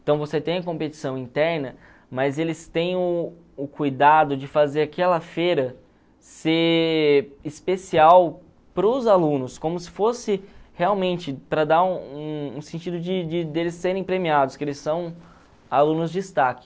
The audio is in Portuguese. Então você tem a competição interna, mas eles têm o o cuidado de fazer aquela feira ser especial para os alunos, como se fosse realmente para dar um um sentido de de eles serem premiados, que eles são alunos destaque.